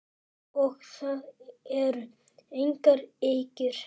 Og það eru engar ýkjur.